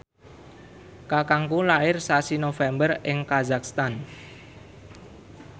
kakangku lair sasi November ing kazakhstan